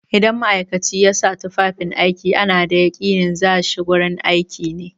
Idan ma'aikaci ya sa tufafin aiki ana da yaƙinin za shi gurin aiki ne.